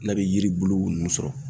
N'a bɛ yiri bulu nun sɔrɔ